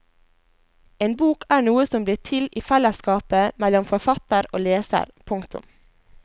En bok er noe som blir til i fellesskapet mellom forfatter og leser. punktum